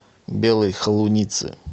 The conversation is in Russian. белой холуницы